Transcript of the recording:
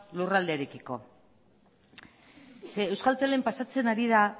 lurraldearekiko zeren euskaltelen pasatzen ari da